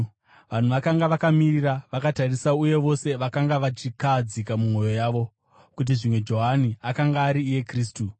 Vanhu vakanga vakamirira vakatarisira, uye vose vakanga vachikahadzika mumwoyo mavo kuti zvimwe Johani akanga ari iye Kristu.